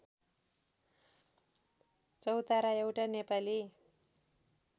चौतारा एउटा नेपाली